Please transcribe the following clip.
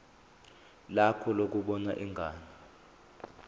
lakho lokubona ingane